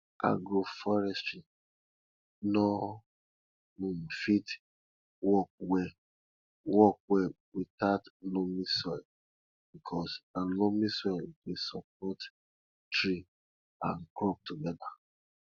agroforestry nor um fit work well work well without loamy soil because na loamy soil dey support tree and crops together